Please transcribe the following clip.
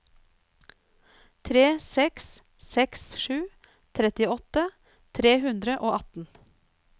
tre seks seks sju trettiåtte tre hundre og atten